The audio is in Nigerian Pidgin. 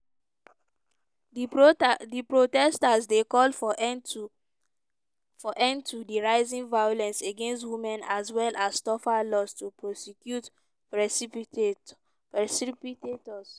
di protestors dey call for end to di rising violence against women as well as tougher laws to prosecute perpetrators.